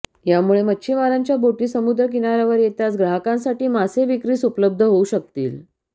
यामुळे मच्छिमारांच्या बोटी समुद्र किनाऱ्यावर येताच ग्राहकांसाठी मासे विक्रीस उपलब्ध होऊ शकतील